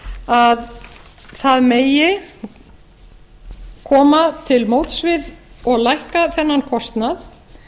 að það megi koma til móts við og lækka þennan kostnað